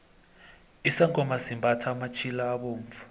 isangoma simbathha amatjhila abovu